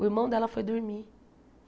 O irmão dela foi dormir.